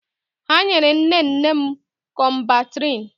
Ha nyere nne nne m Kọmbantriṅ.